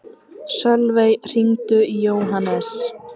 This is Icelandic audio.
Sölvey, hringdu í Jóhannes.